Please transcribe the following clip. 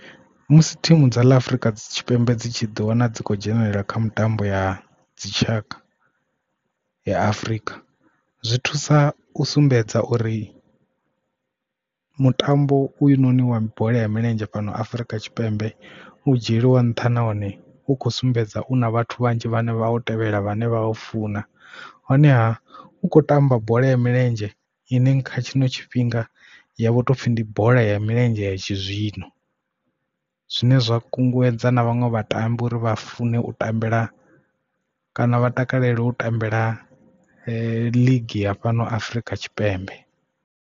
Musi thimu dza ḽa afrika tshipembe dzi tshi ḓi wana dzi khou dzhenelela kha mitambo ya dzitshaka ya Afurika zwi thusa u sumbedza uri mutambo uyu noni wa bola ya milenzhe fhano Afurika Tshipembe u dzhieliwa nṱha nahone u khou sumbedza u na vhathu vhanzhi vhane vha u tevhela vhane vha u funa honeha u kho tamba bola ya milenzhe ine kha tshino tshifhinga yavho topfi ndi bola ya milenzhe ya tshizwino. Zwine zwa kunguwedza na vhaṅwe vhatambi uri vha fune u tambela kana vha takalela u tambela league ya fhano Afrika Tshipembe.